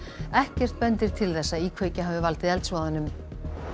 ekkert bendir til þess að íkveikja hafi valdið eldsvoðanum